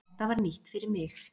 Þetta var nýtt fyrir mig.